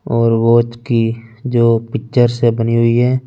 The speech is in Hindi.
और वाच की जो पिक्चर बनी हुई है ।